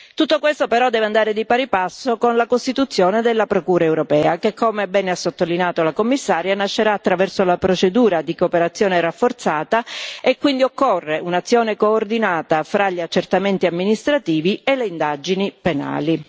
Tutto questo però deve andare di pari passo con la costituzione della Procura europea che, come bene ha sottolineato il Commissario, nascerà attraverso la procedura di cooperazione rafforzata e quindi occorre un'azione coordinata fra gli accertamenti amministrativi e le indagini penali.